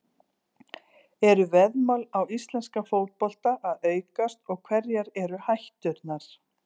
Eru veðmál á íslenskan fótbolta að aukast og hverjar eru hætturnar?